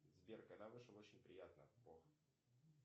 сбер когда вышел очень приятно бог